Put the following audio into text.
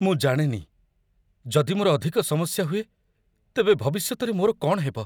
ମୁଁ ଜାଣେନି, ଯଦି ମୋର ଅଧିକ ସମସ୍ୟା ହୁଏ, ତେବେ ଭବିଷ୍ୟତରେ ମୋ'ର କ'ଣ ହେବ।